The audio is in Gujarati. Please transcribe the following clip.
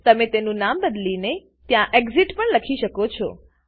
તમે તેનું નામ બદલીને ત્યાં એક્સિટ એક્ઝીટ પણ લખી શકો છો